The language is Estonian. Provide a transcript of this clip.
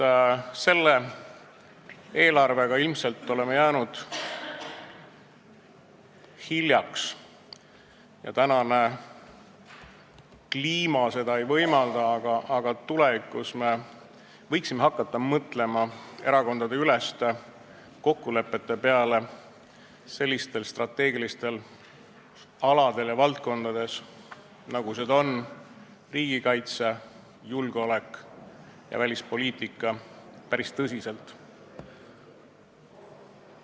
Paraku ilmselt selle eelarve üle otsustamisel me oleme sellega hiljaks jäänud ja tänane kliima seda ei võimalda, aga tulevikus võiksime mõelda erakondadeüleste kokkulepete peale strateegilistes valdkondades, nagu seda on riigikaitse, julgeolek ja välispoliitika, päris tõsiselt.